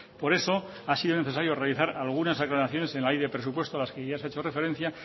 por eso ha sido necesario realizar algunas aclaraciones en la ley de presupuestos a las que ya se ha hecho referencia